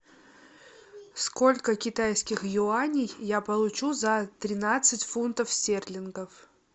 сколько китайских юаней я получу за тринадцать фунтов стерлингов